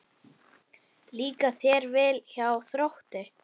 Líkar þér vel hjá Þrótti?